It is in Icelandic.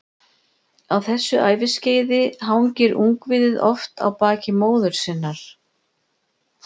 Á þessu æviskeiði hangir ungviðið oft á baki móður sinnar.